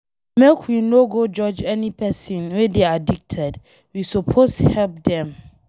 Make we no go judge any pesin wey dey addicted, we suppose help dem.